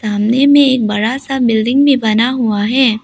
सामने में एक बड़ा सा बिल्डिंग भी बना हुआ है।